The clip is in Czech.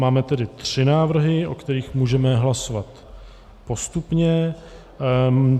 Máme tedy tři návrhy, o kterých můžeme hlasovat postupně.